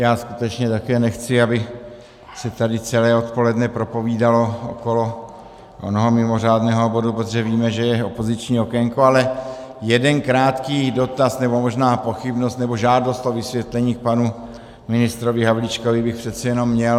Já skutečně také nechci, aby se tady celé odpoledne propovídalo okolo onoho mimořádného bodu, protože víme, že je opoziční okénko, ale jeden krátký dotaz nebo možná pochybnost nebo žádost o vysvětlení k panu ministrovi Havlíčkovi bych přece jenom měl.